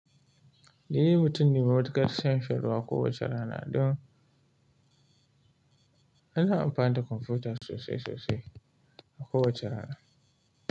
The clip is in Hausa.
Ni mutum ne mai matuƙar son shan ruwa kowace rana don ina amfani da kwamfuta sosai sosai a kowace rana.